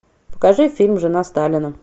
покажи фильм жена сталина